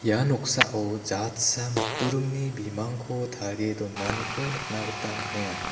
ia noksao jatsa matburingni bimangko tarie donaniko nikna gita man·enga.